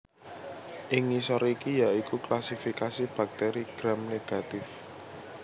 Ing ngisor iki ya iku klasifikasi bakteri gram negatif